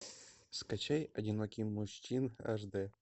скачай одинокий мужчина аш д